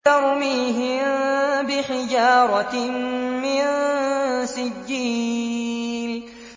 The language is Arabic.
تَرْمِيهِم بِحِجَارَةٍ مِّن سِجِّيلٍ